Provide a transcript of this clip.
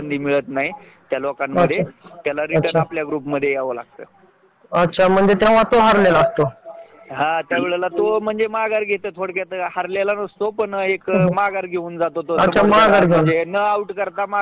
जे काम माणस करतात काही ठिकाणी आपल्या सारखे व्यवसाय करणाऱ्या लोकांना नोकर नोकर म्हणून हे केलं जात जसं व्यवसाय झाल